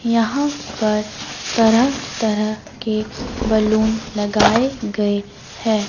यहां पर तरह तरह के बैलून लगाए गए हैं।